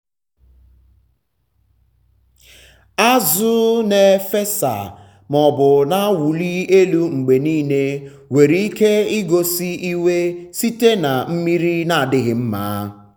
azụ na-efesa um maọbụ na-awụli um elu mgbe niile nwere ike igosi iwe site na mmiri na-adịghị mma.